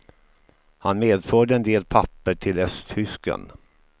Han medförde en del papper till östtysken.